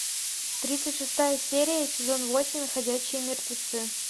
тридцать шестая серия сезон восемь ходячие мертвецы